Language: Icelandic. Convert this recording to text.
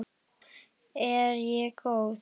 Er ég góð?